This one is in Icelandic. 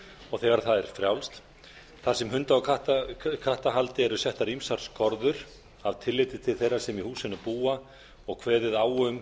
og þegar það er frjálst þar sem hunda og kattahaldi eru settar ýmsar skorður af tilliti til þeirra sem í húsinu búa og kveðið á um